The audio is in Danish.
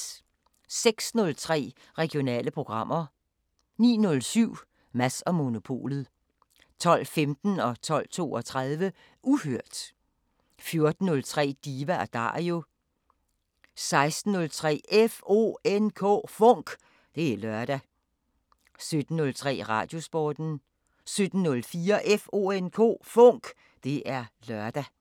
06:03: Regionale programmer 09:07: Mads & Monopolet 12:15: Uhørt 12:32: Uhørt 14:03: Diva & Dario 16:03: FONK! Det er lørdag 17:03: Radiosporten 17:04: FONK! Det er lørdag